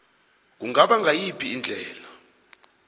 kungaba ngayiphi indlela